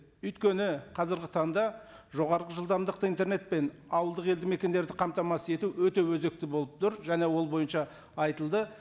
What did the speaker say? өйткені қазіргі таңда жоғарғы жылдамдықты интернетпен ауылдық елді мекендерді қамтамасыз ету өте өзікті болып тұр және ол бойынша айтылды